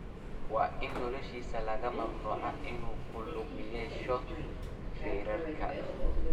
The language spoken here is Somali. Waa in noloshiisa laga mamnuucaa inuu ku lug yeesho feerka."